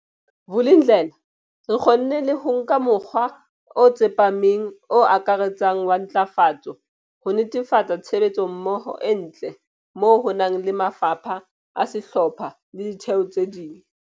Vulindlela, re kgonne le ho nka mokgwa o tsepameng o akaretsang wa ntlafatso, ho netefatsa tshebetsommoho e ntle moo ho nang le mafapha a sehlopha le ditheo tse ding.